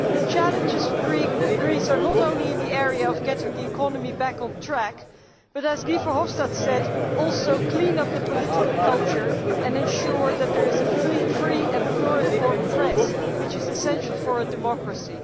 The challenges for Greece are not only in the area of getting the economy back on track but, as Guy Verhofstadt said, also of cleaning up the political culture and ensuring that there is a free and pluriform press, which is essential for a democracy.